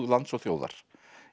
lands og þjóðar